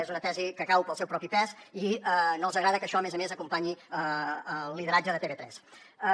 és una tesi que cau pel seu propi pes i no els agrada que això a més a més acompanyi el lideratge de tv3